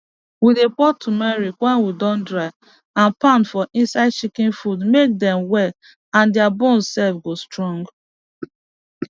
we dey pour tumeric wey we dondry and pound for inside chicken food make dem well and dia bones sef go strong